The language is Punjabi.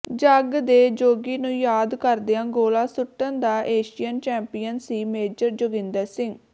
ਜੱਗ ਦੇ ਜੋਗੀ ਨੂੰ ਯਾਦ ਕਰਦਿਆਂ ਗੋਲਾ ਸੁੱਟਣ ਦਾ ਏਸ਼ੀਅਨ ਚੈਂਪੀਅਨ ਸੀ ਮੇਜਰ ਜੋਗਿੰਦਰ ਸਿੰਘ